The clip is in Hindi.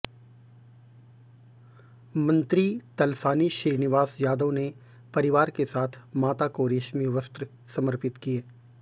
मंत्री तलसानी श्रीनिवास यादव ने परिवार के साथ माता को रेश्मी वस्त्र समर्पित किये